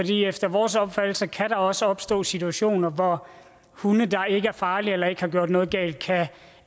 efter vores opfattelse kan der også opstå situationer hvor hunde der ikke er farlige eller ikke har gjort noget galt kan